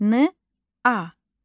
Na.